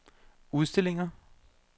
udstillinger